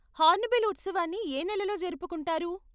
Hornbill ఉత్సవాన్ని ఏ నెలలో జరుపుకుంటారు?